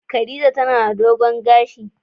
Khadijah tana da dogon gashi.